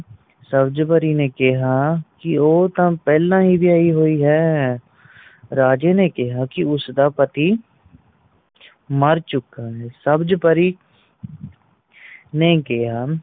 ਸਬਜ ਪਰੀ ਨੇ ਕਿਆ ਕਿ ਉਹ ਤਾ ਪਹਿਲਾਂ ਹੀ ਵਿਆਹੀ ਹੋਈ ਹੈ ਰਾਜੇ ਨੇ ਕਿਆ ਉਸਦਾ ਦਾ ਪਤੀ ਮਾਰ ਚੁੱਕਾ ਹੈ ਸਬਜ ਪਰੀ ਨੇ ਕਿਆ